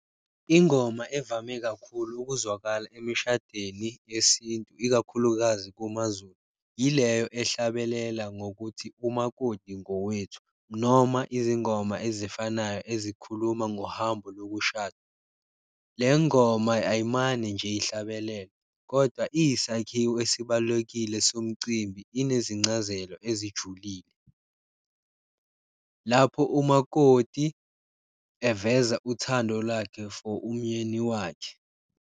Ingoma evame kakhulu ukuzwakala emishadweni yesintu ikakhulukazi kumaZulu, ileyo ehlabelela ngokuthi, umakoti ngokwethu noma izingoma ezifanayo ezikhuluma ngohambo lokushada. Le ngoma ayimane nje ihlabelelwe, kodwa iyisakhiwo esibalulekile somcimbi, inezincazelo ezijulile. Lapho umakoti eveza uthando lwakhe for umyeni wakhe.